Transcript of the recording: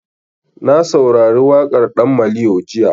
Na saurari waƙar ɗan maliyo jiya.